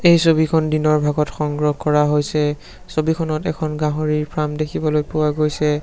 এই ছবিখন দিনৰ ভাগত সংগ্ৰহ কৰা হৈছে ছবিখনত এখন গাহৰিৰ ফাৰ্ম দেখিবলৈ পোৱা গৈছে।